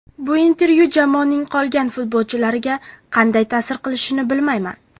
Bu intervyu jamoaning qolgan futbolchilariga qanday ta’sir qilishini bilmayman.